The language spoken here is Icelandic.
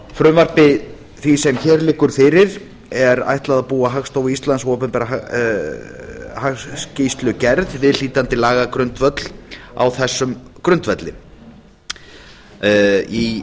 frumvarpi því sem hér liggur fyrir er ætlað að búa hagstofu íslands og opinberri hagskýrslugerð viðhlítandi lagagrundvöll á þessum grundvelli í